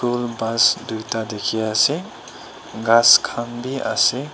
kul bus duita dikhi ase ghass khan bhi ase.